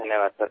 धन्यवाद् सर